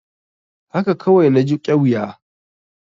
Haka kawai na ji ƙyuya.